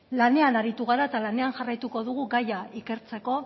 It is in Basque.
lanean aritu gara eta lanean jarraituko dugu gaia ikertzeko